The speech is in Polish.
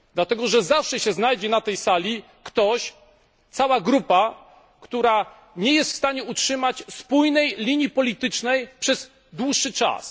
Dlatego zawsze na tej sali znajdzie się ktoś, niekiedy cała grupa, która nie jest w stanie utrzymać spójnej linii politycznej przez dłuższy czas.